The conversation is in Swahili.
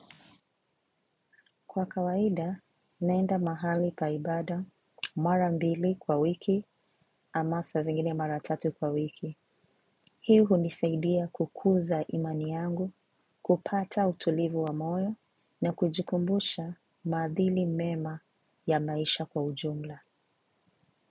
Kwa kawaida, naenda mahali pa ibada, mara mbili kwa wiki, ama saa zingine mara tatu kwa wiki. Hii hunisaidia kukuza imani yangu, kupata utulivu wa moyo, na kujikumbusha maadiili mema ya maisha kwa ujumla.